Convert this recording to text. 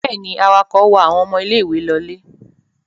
Bẹ́ẹ̀ ni, awakọ̀ wa àwọn ọmọ ilé-ìwé lọlé.